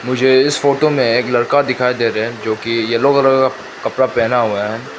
मुझे इस फोटो में एक लड़का दिखाई दे रहे हैं जो की येलो कलर का कपड़ा पेहना हुआ है।